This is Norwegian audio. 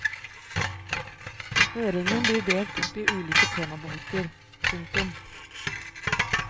Høringen blir delt opp i ulike temabolker. punktum